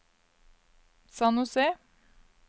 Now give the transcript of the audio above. San José